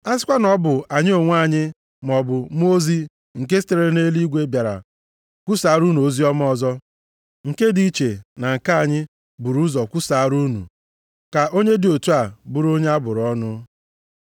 A sikwa na ọ bụ anyị onwe anyị maọbụ mmụọ ozi nke sitere nʼeluigwe bịara kwusaara unu oziọma ọzọ, nke dị iche na nke anyị bụrụ ụzọ kwusaara unu, ka onye dị otu a bụrụ onye abụrụ ọnụ.